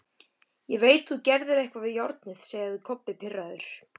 Ég veit þú gerðir eitthvað við járnið, sagði Kobbi pirraður.